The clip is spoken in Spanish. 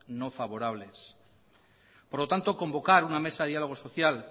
no favorables por lo tanto convocar una mesa de diálogo social